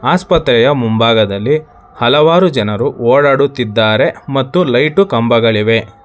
ಆಸ್ಪತ್ರೆಯ ಮುಂಭಾಗದಲ್ಲಿ ಹಲವಾರು ಜನರು ಓಡಾಡುತ್ತಿದ್ದಾರೆ ಮತ್ತು ಲೈಟು ಕಂಬಗಳಿವೆ.